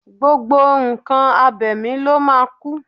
Gbogbo nǹkan abẹ̀mí ló máa kú